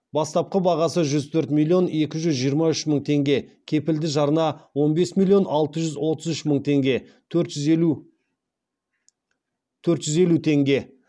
бастапқы бағасы жүз төрт миллион екі жүз жиырма үш мың теңге кепілді жарна он бес миллион алты жүз отыз үш мың төрт жүз елу теңге